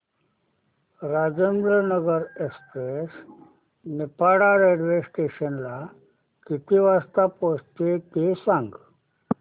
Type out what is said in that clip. Rajendranagar express Niphad railway station ला किती वाजता पोहचते ते सांग